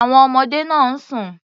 Àwon ọmọdé náà ń sùn.